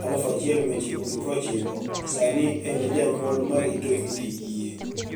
1990, sanii eni janiyuol ma rito niyithi kiye.